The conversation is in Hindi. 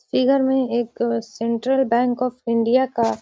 इधर में एक सेंट्रल बैंक ऑफ़ इंडिया का --